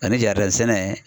Ani sɛnɛ yɛrɛ.